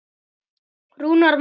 Rúnar Magni.